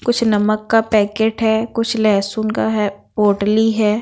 कुछ नमक का पैकेट हैं कुछ लहसुन का हैं पोटली हैं।